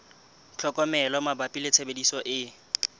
tlhokomelo mabapi le tshebediso e